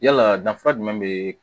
Yalaa danfara jumɛn be